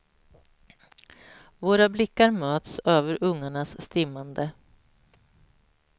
Våra blickar möts över ungarnas stimmande.